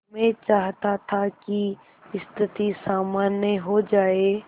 मैं चाहता था कि स्थिति सामान्य हो जाए